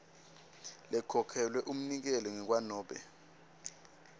lekhokhelwe umnikeli ngekwanobe